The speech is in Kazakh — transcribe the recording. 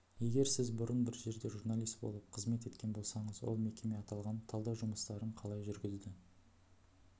егер сіз бұрын бір жерде журналист болып қызмет еткен болсаңыз ол мекеме аталған талдау жұмыстарын қалай жүргізді